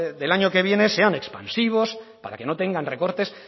del año que viene sean expansivos para que no tengan recortes